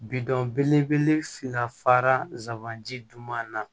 Bidɔn belebele fila fara ji duman na